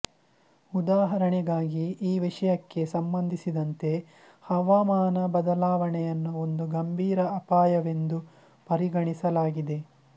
ಉದಾಹರಣೆಗಾಗಿ ಈ ವಿಷಯಕ್ಕೆ ಸಂಬಂಧಿಸಿದಂತೆ ಹವಾಮಾನ ಬದಲಾವಣೆಯನ್ನು ಒಂದು ಗಂಭೀರ ಅಪಾಯವೆಂದು ಪರಿಗಣಿಸಲಾಗಿದೆ